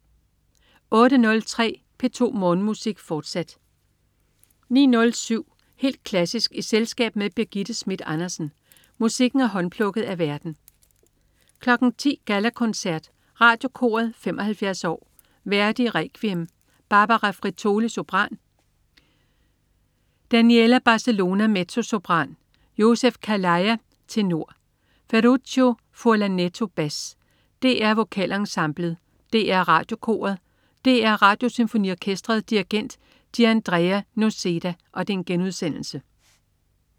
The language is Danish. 08.03 P2 Morgenmusik, fortsat 09.07 Helt klassisk i selskab med Birgitte Schmidt Andersen. Musikken er håndplukket af værten 10.00 Gallakoncert. Radiokoret 75 år. Verdi: Requiem. Barbara Frittoli, sopran. Daniela Barcellona, mezzosopran. Joseph Calleja, tenor. Ferruccio Furlanetto, bas. DR Vokalensemblet. DR Radiokoret. DR Radiosymfoniorkestret. Dirigent: Gianandrea Noseda*